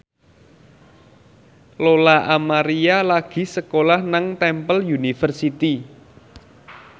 Lola Amaria lagi sekolah nang Temple University